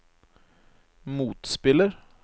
motspiller